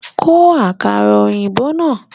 Bo àkàrà òyìnbó náà